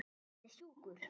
Hann er sjúkur.